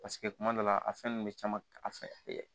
Paseke kuma dɔ la a fɛn nunnu bɛ caman a fɛ